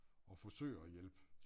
Og forsøger at hjælpe